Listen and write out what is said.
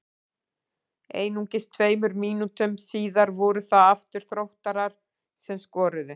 Einungis tveimur mínútum síðar voru það aftur Þróttarar sem skoruðu.